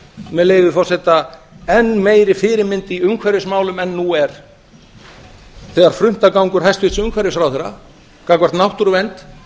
með leyfi forseta enn meiri fyrirmynd í umhverfismálum en nú er þegar fruntagangur hæstvirts umhverfisráðherra gagnvart náttúruvernd